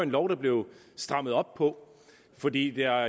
lov der blev strammet op på fordi der